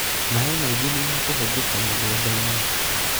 maaĩ maingĩ nĩmekũhũthĩka mũgũnda-inĩ